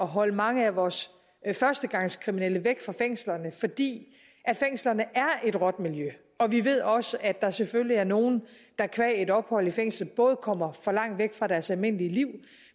holde mange af vores førstegangskriminelle væk fra fængslerne fordi fængslerne er et råt miljø og vi ved også at der selvfølgelig er nogle der qua et ophold i fængslet både kommer for langt væk fra deres almindelige liv